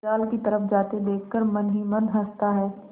जाल की तरफ जाते देख कर मन ही मन हँसता है